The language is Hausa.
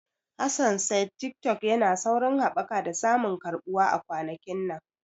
Hassan said Tiktok yana saurin haɓaka da samun karɓuwa a kwanakin nan.